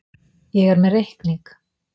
Ég er með reikning.